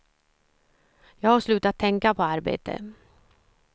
Jag har slutat tänka på arbete.